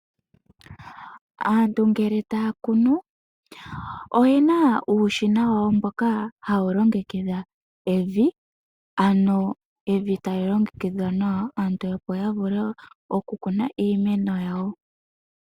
Aantu ngele taya kunu oyena uushina wawo mboka hawu longekidha evi ano evi tali longekidhwa nawa aantu opo yavule okukuna iimeno yawo.